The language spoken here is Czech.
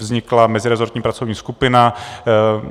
Vznikla mezirezortní pracovní skupina.